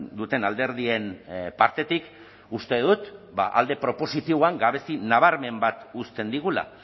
duten alderdien partetik uste dut alde propositiboan gabezi nabarmen bat uzten digula